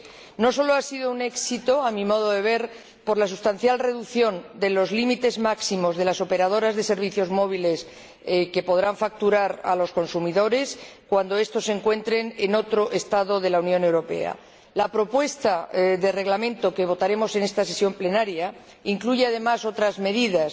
3. No solo ha sido un éxito —a mi modo de ver— por la sustancial reducción de los límites máximos que podrán facturar las operadoras de servicios móviles a los consumidores cuando estos se encuentren en otro Estado de la Unión Europea, sino que la propuesta de Reglamento que votaremos en esta sesión plenaria incluye además otras medidas